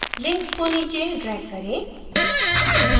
links को नीचे drag करें